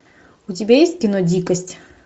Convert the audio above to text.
у тебя есть кино дикость